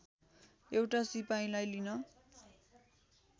एउटा सिपाहीलाई लिन